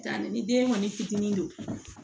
ni den kɔni fitinin don